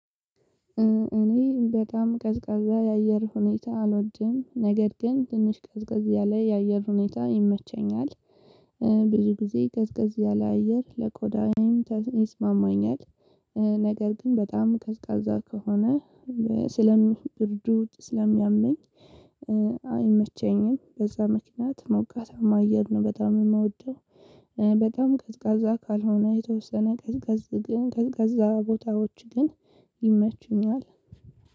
እኔ በጣም ቀዝቀዛ የአየር ሁኔታ አልወድም ነገር ግን ትንሽ ቀዝቀዝ ያለ የአየር ሁኔታ ይመቸኛል ብዙ ጊዜ ቀዝቀዝ ያለ አየር ለቆዳዬም ይስማማኛል። ነገር ግን በጣም ቀዝቃዛ ከሆነ ስለ ብርዱ ስለሚያመኝ። አይመቸኝም በዛ ምክንያት ሞቃታማ አየር ነው በጣም የምወደው። በጣም ቀዝቃዛ ካልሆነ የተወሰነ ቀዝቃዝ ግን ቀዝቃዛ ቦታዎች ግን ይመቹኛል።